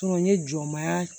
N ye jɔmaya